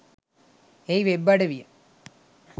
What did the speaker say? එහි වෙබ් අඩවිය